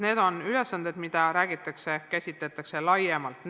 Need on ülesanded, mida käsitletakse laiemalt.